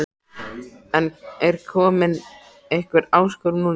En er komin einhver áskorun núna?